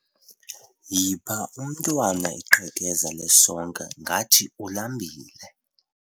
Yipha umntwana iqhekeza lesonka ngathi ulambile.